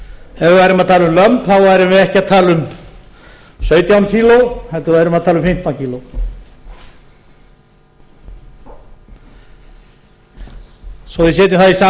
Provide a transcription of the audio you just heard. að tala um lömb værum við ekki að tala um sautján kíló heldur værum við að tala um fimmtán kíló svo að við setjum það í samhengi